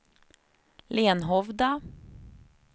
Lenhovda